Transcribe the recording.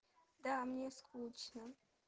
да мне скучно